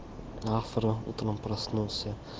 завтра утром проснулся